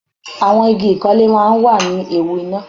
Àwọn igi ìkọ́lé máa ń wà ní ewu iná.